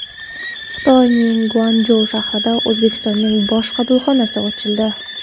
Xitoyning Guanchjou shahrida O‘zbekistonning bosh konsulxonasi ochildi.